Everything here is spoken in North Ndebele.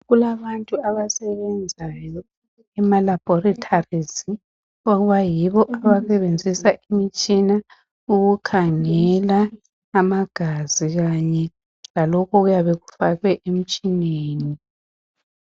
Kulabantu abasebenzayo ema laboratories abayibo abasebenzisa imitshina ukukhangela amagazi kanye lalokhu okuyabe kufakwe emtshineni.